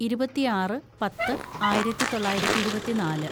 ഇരുപത്തിയാറ് പത്ത് ആയിരത്തിതൊള്ളായിരത്തി ഇരുപത്തിന്നാല്‌